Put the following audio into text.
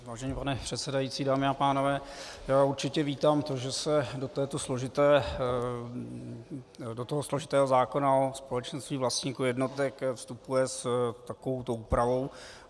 Vážený pane předsedající, dámy a pánové, já určitě vítám to, že se do toho složitého zákona o společenství vlastníků jednotek vstupuje s takovouto úpravou.